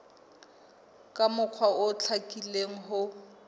ka mokgwa o hlakileng ho